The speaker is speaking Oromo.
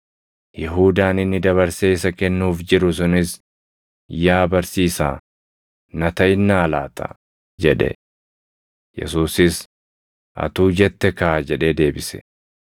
Yihuudaan inni dabarsee isa kennuuf jiru sunis, “Yaa Barsiisaa, na taʼinnaa laata?” jedhe. Yesuusis, “Atuu jette kaa!” jedhee deebise.